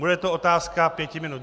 Bude to otázka pěti minut.